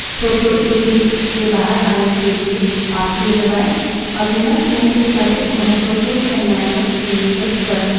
उदाहरणस्वरूप